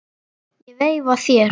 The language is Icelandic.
Ég veifa þér.